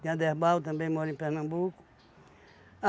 Tem Aderbal também mora em Pernambuco.